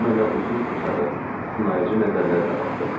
O mənə uzun-uzadı, sınayıcı nəzərlərlə baxdı.